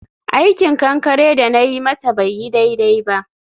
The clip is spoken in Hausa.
aikin kankare da na yi masa bai yi daidai ba.